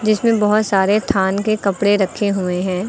इसमें बहोत सारे थान के कपड़े रखे हुए हैं।